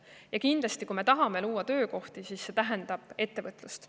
Ja kindlasti, kui me tahame luua töökohti, siis see tähendab ettevõtlust.